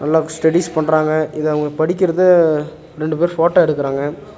எல்லாக் ஸ்டடிஸ் பண்றாங்க. இது அவங்க படிக்கிறத ரெண்டு பேரு ஃட்டோ எடுக்கறாங்க.